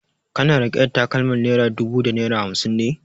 Kana riƙe da takalmar naira dubu da naira hamsin ne?